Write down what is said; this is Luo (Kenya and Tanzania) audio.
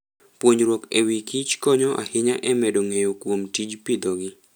Puonjruok e wi kichkonyo ahinya e medo ng'eyo kuom tij pidhogi.